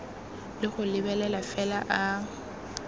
le go lebelela fela a